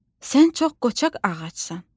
Sən çox qoçaq ağacsan.